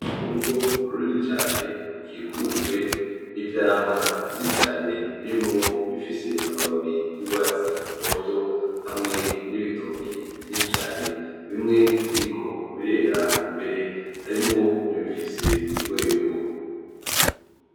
Urwo rugo runini cane, rukikujwe n'ivyamwa vyinshi cane birimwo ibfise amababi y'urwatsi rutoto, hamwe n'ibitoke vyinshi cane, bimwe biriko birera mbere harimwo nibifise urwego.